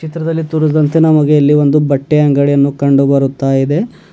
ಚಿತ್ರದಲ್ಲಿ ತೋರಿದಂತೆ ನಮಗೆ ಇಲ್ಲಿ ಒಂದು ಬಟ್ಟೆ ಅಂಗಡಿ ಅನ್ನು ಕಂಡು ಬರುತಾಇದೆ.